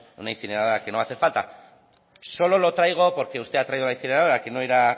una incineradora que no va a hacer falta solo lo traigo porque usted ha traído la incineradora